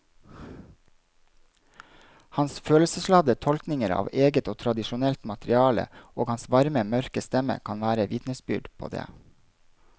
Hans følelsesladde tolkninger av eget og tradisjonelt materiale og hans varme mørke stemme kan være vitnesbyrd på det.